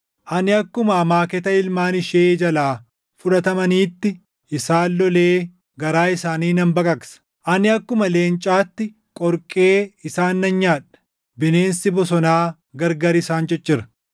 Ani akkuma amaaketa ilmaan ishee jalaa fudhatamaniitti isaan lolee garaa isaanii nan baqaqsa. Ani akkuma leencaatti qorqee isaan nan nyaadha; bineensi bosonaa gargar isaan ciccira.